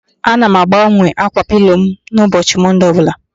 Ana m agbanwe ákwà pilo m n'ụbọchị Mọnde ọbụla